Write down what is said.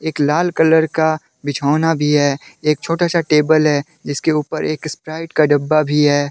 एक लाल कलर का बिछौना भी है एक छोटा सा टेबल है जिसके ऊपर स्प्राइट का डब्बा भी है।